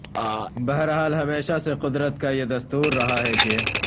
بہر حال ہمیشہ سے قدرت کایہ دستور رہا ہے کہ